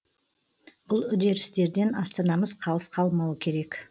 бұл үдерістерден астанамыз қалыс қалмауы керек